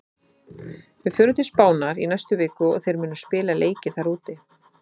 Við förum til Spánar í næstu viku og þeir munu spila leiki þar úti.